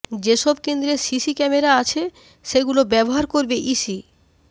যেসব কেন্দ্রে CC camera আছে সেগুলো ব্যবহার করবে ইসি